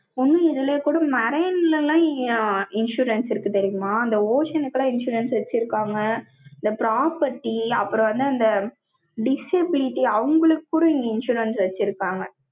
ஒண்ணும், இதுலயே கூட, marine ல எல்லாம், insurance இருக்கு, தெரியுமா? அந்த ocean க்கெல்லாம், insurance வச்சிருக்காங்க property அப்புறம் வந்து, அந்த, disability அவங்களுக்கு கூட, இங்க, insurance வச்சிருக்காங்க.